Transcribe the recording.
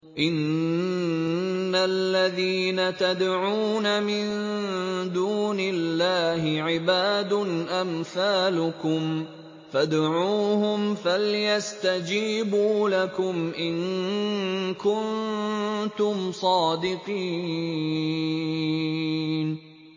إِنَّ الَّذِينَ تَدْعُونَ مِن دُونِ اللَّهِ عِبَادٌ أَمْثَالُكُمْ ۖ فَادْعُوهُمْ فَلْيَسْتَجِيبُوا لَكُمْ إِن كُنتُمْ صَادِقِينَ